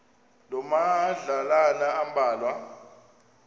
loo madlalana ambalwa